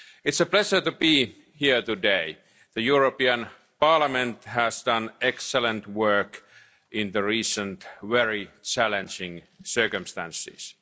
It's a pleasure to be here today. The European Parliament has done excellent work in the recent very challenging circumstances.